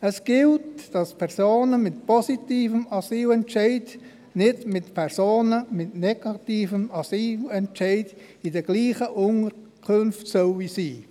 Es gilt, dass Personen mit positivem Asylbescheid nicht in denselben Unterkünften sein sollen wie Personen mit negativem Asylentscheid.